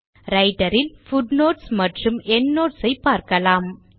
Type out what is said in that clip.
writer இல் footnotes மற்றும் endnotes ஐ பார்க்கலாம்